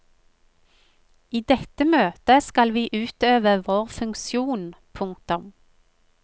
I dette møtet skal vi utøve vår funksjon. punktum